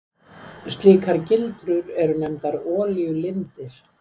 Slíkar gildrur eru nefndar olíulindir.